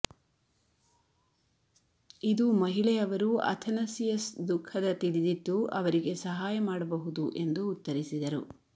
ಇದು ಮಹಿಳೆ ಅವರು ಅಥನಸಿಯಸ್ ದುಃಖದ ತಿಳಿದಿತ್ತು ಅವರಿಗೆ ಸಹಾಯ ಮಾಡಬಹುದು ಎಂದು ಉತ್ತರಿಸಿದರು